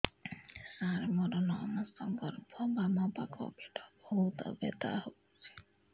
ସାର ମୋର ନଅ ମାସ ଗର୍ଭ ବାମପାଖ ପେଟ ବହୁତ ବଥା ହଉଚି